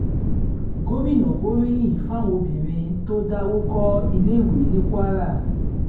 gomina gbóríyìn fáwọn obìnrin tó dáwọ́ kọ iléèwé ní kwara